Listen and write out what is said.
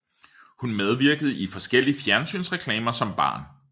Hun medvirkede i forskellige fjernsynsreklamer som barn